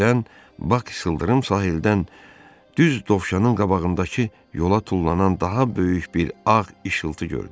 Birdən Bak sıldırım sahildən düz dovşanın qabağındakı yola tullanan daha böyük bir ağ işıltı gördü.